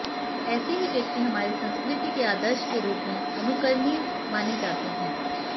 ऐसे ही व्यक्ति हमारे संस्कृति के आदर्श के रूप में अनुकरणीय माने जाते है